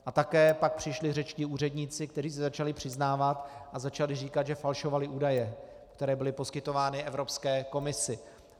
A také pak přišli řečtí úředníci, kteří se začali přiznávat a začali říkat, že falšovali údaje, které byly poskytovány Evropské komisi.